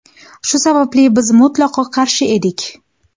Shu sababli biz mutlaqo qarshi edik.